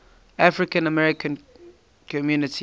african american community